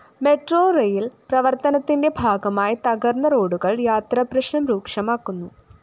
metro rail‍ പ്രവര്‍ത്തനത്തിന്റെ ഭാഗമായിത്തകര്‍ന്ന റോഡുകള്‍ യാത്രാപ്രശ്‌നം രൂക്ഷമാക്കുന്നു